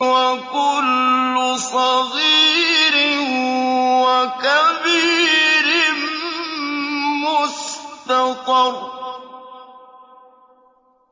وَكُلُّ صَغِيرٍ وَكَبِيرٍ مُّسْتَطَرٌ